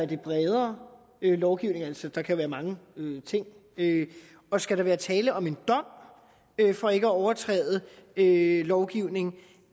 det er bredere lovgivning altså der kan være mange ting og skal der være tale om en dom for ikke at overtræde lovgivningen